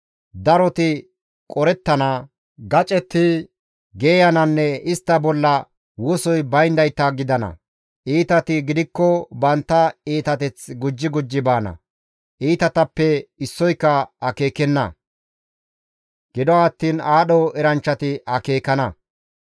Daroti qorettana, gacetti geeyananne istta bolla wosoy bayndayta gidana; iitati gidikko bantta iitateth gujji gujji baana; iitatappe issoyka akeekenna; gido attiin aadho eranchchati akeekana.